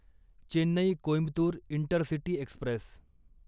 Chennai Coimbatore Intercity Express